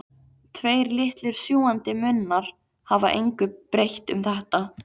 Tveir litlir sjúgandi munnar hafa engu breytt um þetta.